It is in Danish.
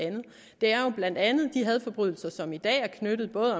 andet det er jo blandt andet de hadforbrydelser som i dag er knyttet både